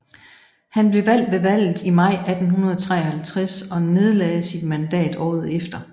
Han blev valgt ved valget i maj 1853 og nedlagde sit mandat året efter